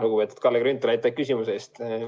Lugupeetud Kalle Grünthal, aitäh küsimuse eest!